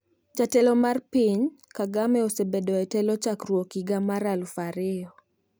Jatelo mar piny Kagame osebedo e telo chakruok higa mar aluf ariyo